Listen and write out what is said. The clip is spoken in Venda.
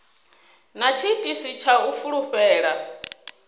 na tshiitisi tsha u fulufhela